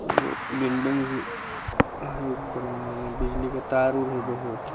एगो बिल्डिंग भी है ऊपर में बिजली की तार-उर है बहुत |